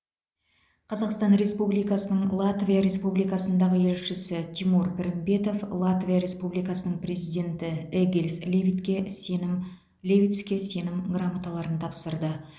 қазақстан республикасының латвия республикасындағы елшісі тимур пірімбетов латвия республикасының президенті эгилс левитке сенім левитске сенім грамоталарын тапсырды